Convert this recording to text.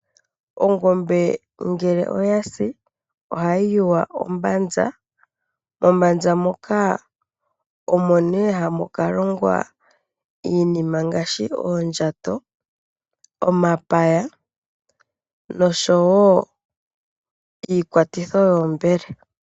Ongombe ngele oyasi ohayi yuywa ombanza, mombanza moka omo nee hamu ka longwa iinima ngaashi oondjato, omapaya, nosho wo iikwatitho yoombele.